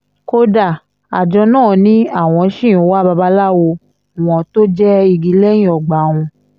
kódà àjọ náà ni àwọn ṣì ń wa babaláwo wọn tó jẹ́ igi lẹ́yìn ọgbà wọn